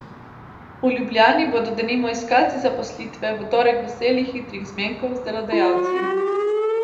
V Ljubljani bodo denimo iskalci zaposlitve v torek veseli hitrih zmenkov z delodajalci.